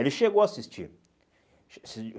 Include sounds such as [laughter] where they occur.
Ele chegou a assistir. [unintelligible]